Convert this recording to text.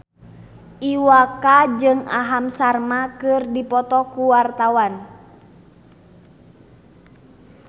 Iwa K jeung Aham Sharma keur dipoto ku wartawan